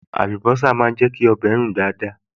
Àlùbọ́sà máa ń jẹ́ kí ọbẹ̀ rùn dáadáa